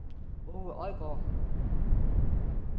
Aage Odgaard